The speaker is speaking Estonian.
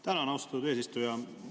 Tänan, austatud eesistuja!